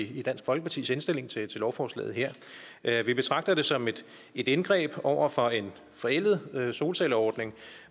i dansk folkepartis indstilling til lovforslaget her vi betragter det som et indgreb over for en forældet solcelleordning